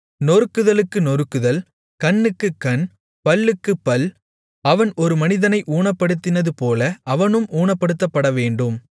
நொறுக்குதலுக்கு நொறுக்குதல் கண்ணுக்குக் கண் பல்லுக்குப் பல் அவன் ஒரு மனிதனை ஊனப்படுத்தினதுபோல அவனும் ஊனப்படுத்தப்படவேண்டும்